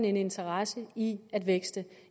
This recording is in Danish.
en interesse i at vækste